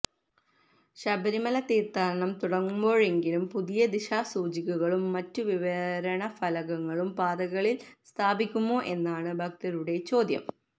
ശബരിമല തീര്ഥാടനംതുടങ്ങുമ്പോഴെങ്കിലും പുതിയ ദിശാസൂചികകളും മറ്റു വിവരണ ഫലകങ്ങളും പാതകളില് സ്ഥാപിക്കുമോ എന്നാണ് ഭകതരുടെ ചോദ്യം